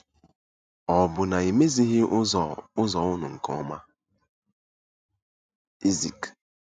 Ọ̀ bụ na e mezighị ụzọ ụzọ unu nke ọma? ”— Ezik.